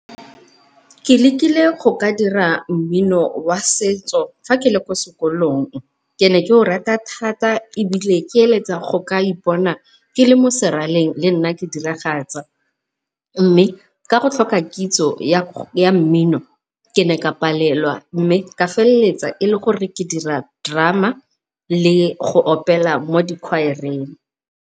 Ke lekile go ka dira mmino wa setso fa ke le kwa sekolong ke ne ke o rata thata ebile ke eletsa go ka ipona ke le mo seraleng le nna ke diragatsa, mme ka go tlhoka kitso ya mmino ke ne ka palelwa mme ka feleletsa e le gore ke dira drama le go opela mo dikhwaereng.